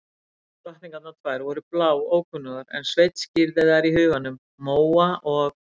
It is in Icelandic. Hinar drottningarnar tvær voru bláókunnugar en Sveinn skírði þær í huganum: Móa og